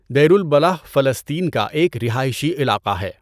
دیر al-Balah فلسطین کا ایک رہائشی علاقہ ہے۔